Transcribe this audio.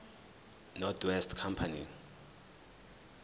north west company